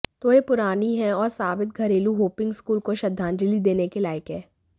तो यह पुरानी है और साबित घरेलू होपिंग स्कूल को श्रद्धांजलि देने के लायक है